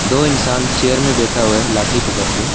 दो इंसान चेयर में बैठा हुआ है लाठी पकड़ के।